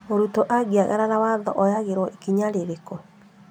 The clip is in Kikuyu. Mũrutwo angĩagarara watho oyagĩrwo ikinya rĩrĩkũ?